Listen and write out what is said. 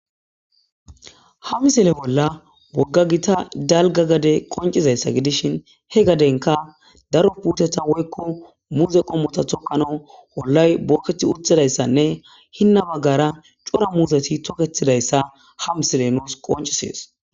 ha misele bolla bogga gita dalga gade qoncizayssa gidishin he gadenka daro puteta woykko muuze qommota toqano hollay bookethi utdidayssanne hinna baggara cora muuseti toketidayssa ha misile nuus qoncisees